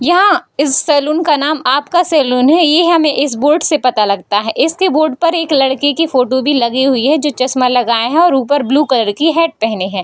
यहाँ इस सैलून का नाम आपका सैलून है ये हमें इस बोर्ड से पता लगता है। इसी बोर्ड पर एक लड़के की फोटो भी लगी हुई है जो चश्मा लगाए हैं और ऊपर ब्लू कलर की हैट पहने हैं।